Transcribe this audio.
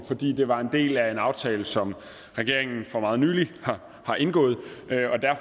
fordi det var en del af en aftale som regeringen for meget nylig har indgået